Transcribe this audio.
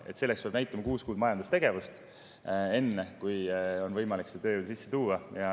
Enne kui on võimalik see tööjõud sisse tuua, peab näitama, kuus kuud majandustegevust.